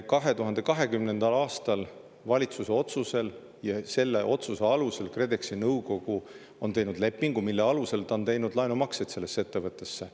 2020. aastal valitsus otsuse ja selle otsuse alusel KredExi nõukogu tegi lepingu, mille alusel ta on teinud laenumakseid sellesse ettevõttesse.